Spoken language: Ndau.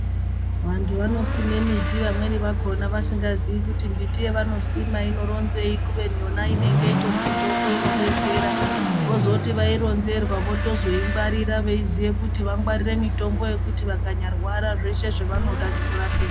Vantu vanosima mbiti vamweni vakona vasingazivi kuti mbiti yavanosima inoronzei kubeni yona inenge iri mitombo inodetsera vozoti vaitonzerwa vozotoingwarira vachiziva vangwarira mutombo wekuti vakanyarwara zveshe zvavanoda zvinorapika.